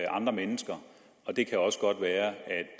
andre mennesker og det kan også godt være